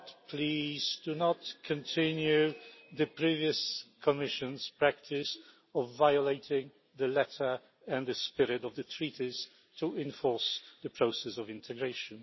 Please do not continue the previous Commission's practice of violating the letter and the spirit of the Treaties to enforce the process of integration.